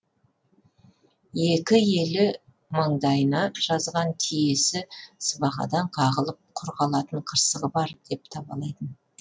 екі елі маңдайына жазған тиесі сыбағадан қағылып құр қалатын қырсығы бар деп табалайтын